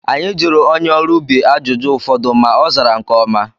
Anyị jụrụ onye ọrụ ubi ajụjụ ụfọdụ ma ozara nke ọma